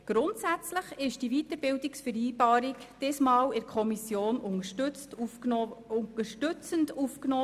Grundsätzlich wurde dieses Mal die Weiterbildungsvereinbarung in der Kommission unterstützend aufgenommen.